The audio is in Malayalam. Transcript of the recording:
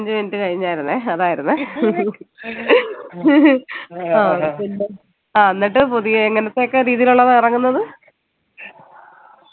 അഞ്ചു minute കഴിഞ്ഞാനായിരുന്നെ അതായിരുന്നെ ആഹ് എന്നിട്ട് പുതിയ എങ്ങനത്തെയൊക്കെ രീതിയിലുള്ളതാ ഇറങ്ങുന്നത്